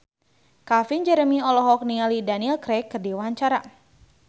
Calvin Jeremy olohok ningali Daniel Craig keur diwawancara